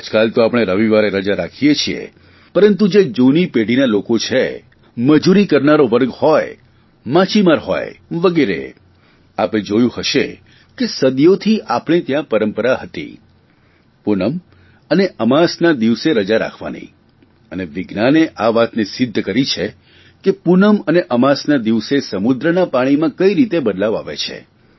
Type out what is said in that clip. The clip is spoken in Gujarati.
આજકાલ તો આપણે રવિવારે રજા રાખીએ છીએ પરંતુ જે જૂની પેઢીના લોકો છે મજૂરી કરનારો વર્ગ હોય માછીમારો હોય વગેરે આપે જોયું હશે કે સદીઓથી આપણે ત્યાં પરંપરા હતી પૂનમ અને અમાસના દિવસે રજા રાખવાની અને વિજ્ઞાને આ વાતને સિદ્ધ કરી છે કે પૂનમ અને અમાસના દિવસે સમુદ્રના પાણીમાં કઇ રીતે બદલાવ આવે છે